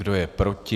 Kdo je proti?